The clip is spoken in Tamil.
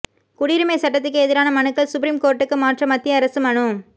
குடியுரிமை சட்டத்துக்கு எதிரான மனுக்கள் சுப்ரீம் கோர்ட்டுக்கு மாற்ற மத்திய அரசு மனு